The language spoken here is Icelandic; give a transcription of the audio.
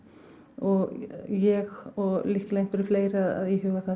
og ég og líklega einhverjir fleiri að íhuga það